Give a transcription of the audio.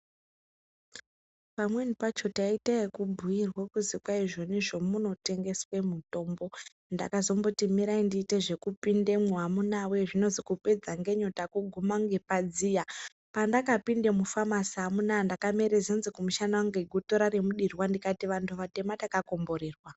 Pamweni pacho taite yekubhuyirwa kuzi kwaizvonizvo munotengeswe mitombo, ndakazomboti mirai ndiite zvekupindemwo amunawe zvinozi kupedza ngenyota kuguma ngepadziya pandakapinde mufamasi amuna ndakamere zenze kumushana kunge gotora remudirwa, ndikati anhu atema takakomborerwa.